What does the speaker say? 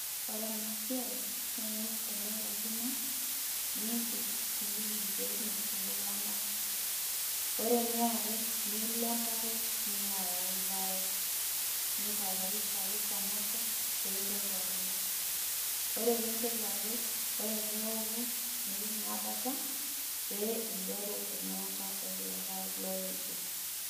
Ore enasiai, naa ing'asa ainok enkima, nidip nipik irkeek metupuku olang'a. Ore eniare, nilo emparet, nilo ayau irpaek. Nintayarisha apik pamoja, peinteru apej. Ore peinteru apej, ore peoku, nipik naa bata, pee interu enyaata ekulo paek lopejo.